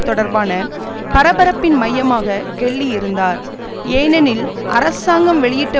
தொடர்பான பரபரப்பின் மையமாக கெல்லி இருந்தார் ஏனெனில் அரசாங்கம் வெளியிட்ட